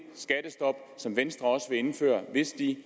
skattestop som venstre også vil indføre hvis de